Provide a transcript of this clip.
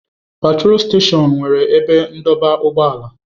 Petrol steshọns nwere ebe ndọba ụgbọala.